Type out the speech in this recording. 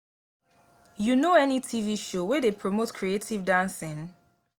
you know any tv show wey dey promote creative dancing?